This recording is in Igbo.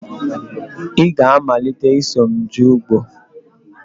Ị ga-amalite ịsọ m jee ugbo!